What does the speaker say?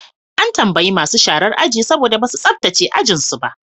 An tambayi masu sharar aji saboda ba su tsabtace ajuju su ba.